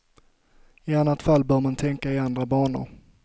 I annat fall bör man tänka i andra banor.